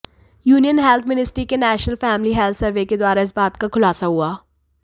union health ministry के national family health survey के द्वारा इस बात का खुलासा हुआ